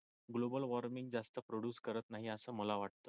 गोबल warming जास्त produce करत नाही आस मला वाटत.